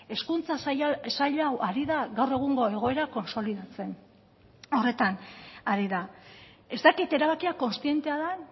hezkuntza sail hau ari da gaur egungo egoera kontsolidatzen horretan ari da ez dakit erabakia kontzientea den